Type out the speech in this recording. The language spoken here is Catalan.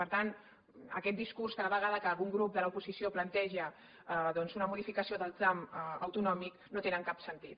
per tant aquest discurs cada vegada que algun grup de l’oposició planteja doncs una modificació del tram autonòmic no té cap sentit